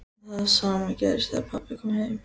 Það sama gerðist þegar pabbi kom heim.